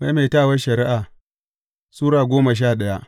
Maimaitawar Shari’a Sura goma sha daya